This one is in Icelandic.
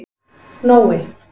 Nói